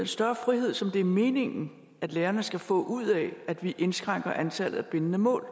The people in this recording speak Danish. større frihed som det er meningen at lærerne skal få ud af at vi indskrænker antallet af bindende mål